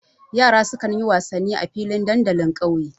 Yara sukan yi wasanni a filin dandalin ƙauye.